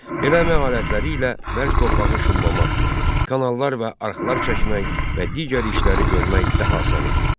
Belə əmək alətləri ilə bərk torpağı şumlamaq, kanallar və arxlar çəkmək və digər işləri görmək daha asan idi.